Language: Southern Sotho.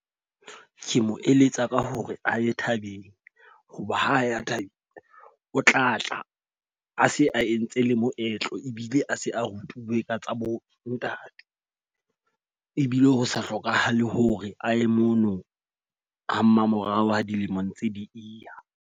Ke mo eletsa ka hore a ye thabeng. Ho ba ha ya thabeng, o tlatla a se a entse le moetlo ebile a se a rutuwe ka tsa bo ntate. Ebile ho sa hlokahale hore a ye mono ha mmamorao ha dilemo ntse di e ya.